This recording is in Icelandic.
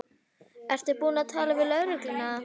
Ertu búin að tala við lögregluna?